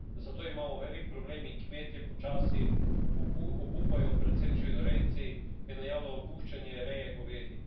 Zato imamo velik problem in kmetje počasi obupujejo, predvsem živinorejci, in najavljajo opuščanje reje govedi.